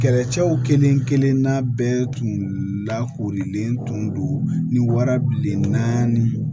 Kɛlɛcɛw kelen kelen n'a bɛɛ tun lakoorilen tun don ni wara bilenna ni